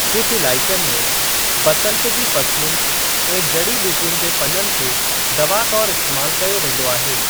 कुझ इलाइक़नि में, बसंत जी फ़सलुनि ऐं जड़ी ॿुटियुनि जे पननि खे दवा तौरु इस्‍तेमाल कयो वेंदो आहे।